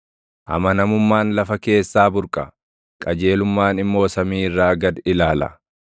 Amanamummaan lafa keessaa burqa; qajeelummaan immoo samii irraa gad ilaala.